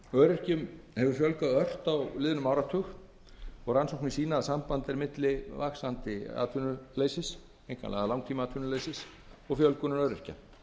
öryrkjum hefur fjölgað ört á liðnum áratug og rannsóknir sýna að samband er á milli vaxandi atvinnuleysis og fjölgunar öryrkja